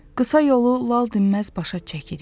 Qısa yolu lal dinməz başa çəkirik.